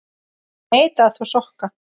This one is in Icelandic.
Neita að þvo sokka.